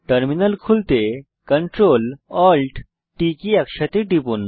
terminal খুলতে CTRLALTT key একসাথে টিপুন